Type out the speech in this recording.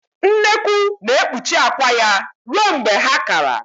Nnekwu na-ekpuchi akwa ya ruo mgbe ha kara